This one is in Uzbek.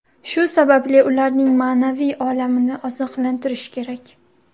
Shu sababli, ularning ma’naviy olamini oziqlantirish kerak.